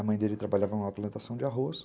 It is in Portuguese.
A mãe dele trabalhava numa plantação de arroz.